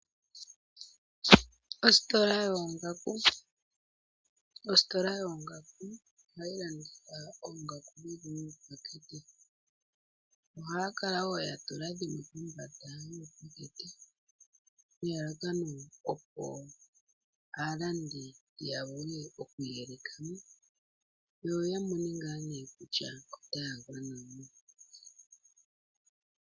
Ositola yoongaku, ohayi landitha oongaku dhili miipatekete noongaku dhimwe ohadhikala dhatulwa kombanda yiipateke opo aalandi ya vule okwiiyelekamo, yo yavule okumona oongaku ndhi taagwana.